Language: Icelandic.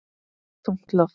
Þungt loft.